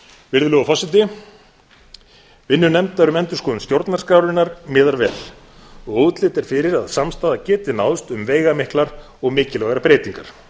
virðulegur forseti vinnu nefndar um endurskoðun stjórnarskrárinnar miðar vel og útlit er fyrir að samstaða geti náðst um veigamiklar og mikilvægar breytingar